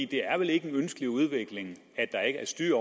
det er vel ikke en ønskelig udvikling at der ikke er styr